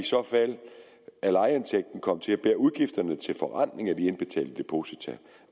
så fald af lejeindtægten komme til at bære udgifterne til forrentning af det indbetalte depositum